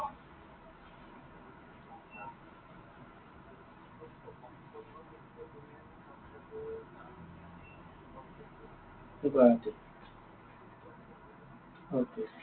গুৱাহাটীত okay